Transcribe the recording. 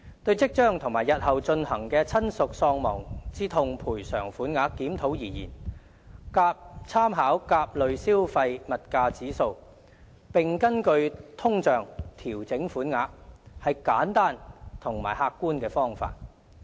對於即將和日後進行的親屬喪亡之痛賠償款額檢討而言，參考甲類消費物價指數，並根據通脹調整款額，是簡單和客觀的方法。